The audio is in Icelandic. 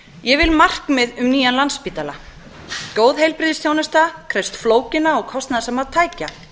ég vil markmið um nýjan landspítala góð heilbrigðisþjónusta krefst flókinna og kostnaðarsamra tækja